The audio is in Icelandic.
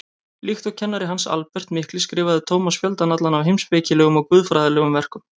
Líkt og kennari hans, Albert mikli, skrifaði Tómas fjöldann allan af heimspekilegum og guðfræðilegum verkum.